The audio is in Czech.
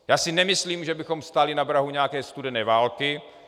Já si nemyslím, že bychom stáli na prahu nějaké studené války.